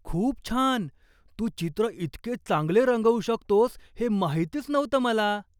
खूप छान! तू चित्र इतके चांगले रंगवू शकतोस हे माहितीच नव्हतं मला!